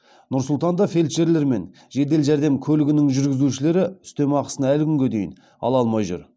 нұр сұлтанда фельдшерлер мен жедел жәрдем көлігінің жүргізушілері үстемақысын әлі күнге дейін ала алмай жүр